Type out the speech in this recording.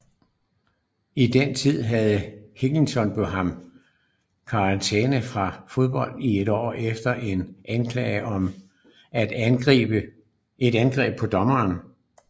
I den tid havde Higginbotham karantæme fra fodbold i et år efter en anklage om et angreb på en dommer